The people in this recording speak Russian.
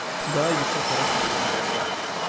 да ведь я хороший парень